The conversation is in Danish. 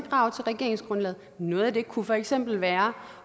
krav til regeringsgrundlaget og noget af det kunne for eksempel være